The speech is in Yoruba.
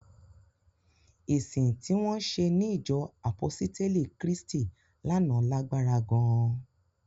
Ìsìn tí wọ́n ṣe ní ìjọ àpọ́sítélì Krístì lánàá lágbára gan-an